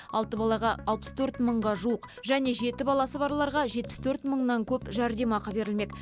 алты балаға алпыс төрт мыңға жуық және жеті баласы барларға жетпіс төрт мыңнан көп жәрдемақы берілмек